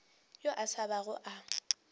yo a sa bago a